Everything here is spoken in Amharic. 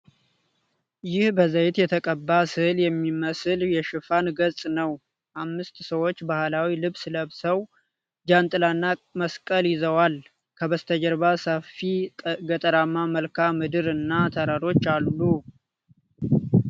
ይህ በዘይት የተቀባ ሥዕል የሚመስል የሽፋን ገጽ ነው። አምስት ሰዎች ባህላዊ ልብስ ለብሰው፣ ጃንጥላና መስቀል ይዘውዋል። ከበስተጀርባ ሰፊ ገጠራማ መልክዓ ምድር እና ተራሮች አሉ።